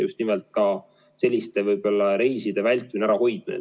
just nimelt ka reiside vältimine, ärahoidmine.